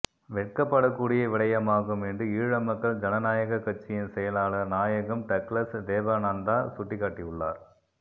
வெட்கப்படக் கூடிய விடயமாகும் என்று ஈழ மக்கள் ஜனநாயகக் கட்சியின் செயலாளர் நாயகம் டக்ளஸ் தேவானந்தா சுட்டிக்காட்டியுள்ளார்